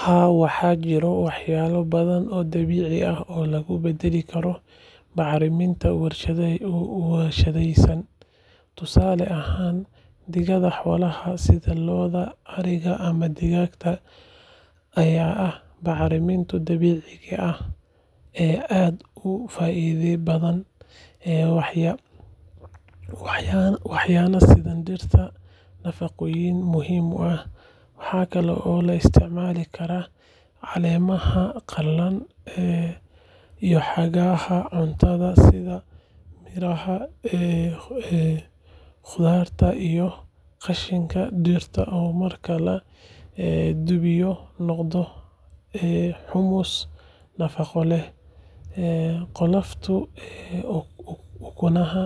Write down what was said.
Haa, waxaa jira waxyaabo badan oo dabiici ah oo lagu beddeli karo bacriminta warshadaysan. Tusaale ahaan, digada xoolaha sida lo’da, ariga ama digaagga ayaa ah bacriminta dabiiciga ah ee aad u faa’iido badan, waxayna siisaa dhirta nafaqooyin muhiim ah. Waxa kale oo la isticmaali karaa caleemaha qalalay, hadhaaga cuntada sida miraha, khudaarta iyo qashinka dhirta oo marka la qudhmiyo noqda humus nafaqo leh. Qolofta ukunaha,